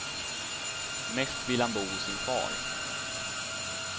Mest vill han bo hos sin far.